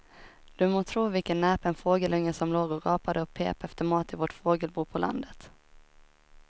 Du må tro vilken näpen fågelunge som låg och gapade och pep efter mat i vårt fågelbo på landet.